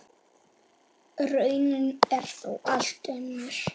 Raunin er þó allt önnur.